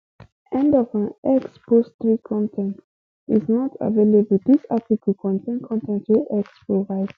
end of um x post three con ten t is not available dis article contain con ten t wey x provide